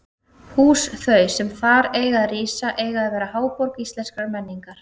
Hús þau, sem þar eiga að rísa, eiga að verða háborg íslenskrar menningar!